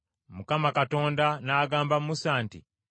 Mukama Katonda n’agamba Musa nti,